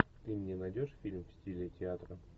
ты мне найдешь фильм в стиле театра